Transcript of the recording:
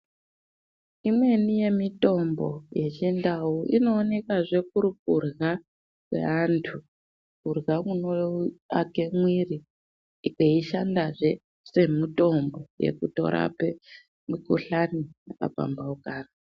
Imweni yemitombo yechindau inoonekazve kuri kurya kweantu. Kurya kunoake mwiri kweishandazve semutombo vekutorape mikuhlani yakapambaukana.